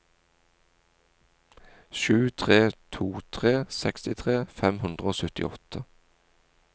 sju tre to tre sekstitre fem hundre og syttiåtte